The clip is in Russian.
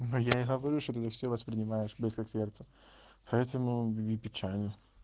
ну я и говорю что ты все воспринимаешь близко к сердцу поэтому и печально